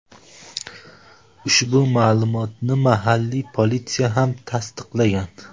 Ushbu ma’lumotni mahalliy politsiya ham tasdiqlagan.